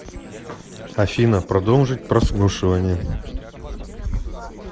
афина продолжить прослушивание